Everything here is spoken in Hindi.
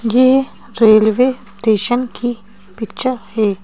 ये रेलवे स्टेशन की पिक्चर है।